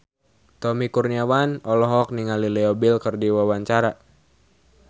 Tommy Kurniawan olohok ningali Leo Bill keur diwawancara